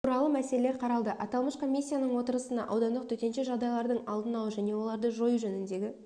туралы мәселелер қаралды аталмыш комиссияның отырысына аудандық төтенше жағдайлардың алдын алу және оларды жою жөніндегі